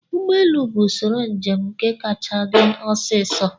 Ụgbọelu bụ usoro njem nke kacha dị osiso